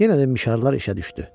Yenə də mişarlar işə düşdü.